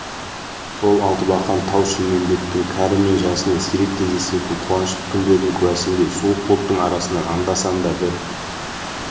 сол алтыбақан тау-шілмембеттің кәрі мен жасына сирек кездесетін қуанышты күндердің куәсіндей суық бұлттың арасынан анда-санда бір